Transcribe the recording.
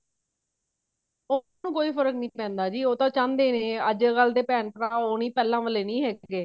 ਉਹਨੂੰ ਕੋਈ ਫਰਕ ਨੀ ਪੈਂਦਾ ਜੀ ਉਹ ਤਾਂ ਚਾਹੁੰਦੇ ਨੇ ਅੱਜ ਕੱਲ ਦੇ ਭੇਣ ਭਰਾ ਉਹ ਨੀ ਪਹਿਲਾਂ ਵਾਲੇ ਨੀ ਹੈਗੇ